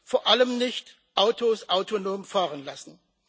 Vor allem nicht Autos autonom fahren lassen.